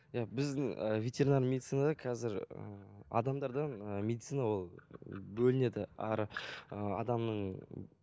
иә біздің ы ветеринар медицинада қазір ы адамдардан ы медицина ол бөлінеді әрі ы адамның